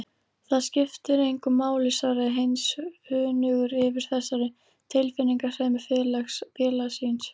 Það skiptir engu máli svaraði Heinz önugur yfir þessari tilfinningasemi félaga síns.